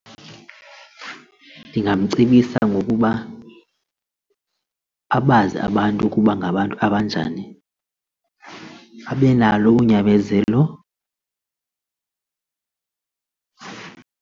Ndingamcebisa ngokuba abazi abantu ukuba ngabantu abanjani, abe nalo unyamezelo.